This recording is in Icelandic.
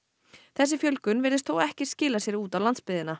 þessi fjölgun virðist þó ekki skila sér út á landsbyggðina